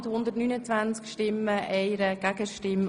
Traktandum 37 Geschäft 2016.RRGR.976 M 210-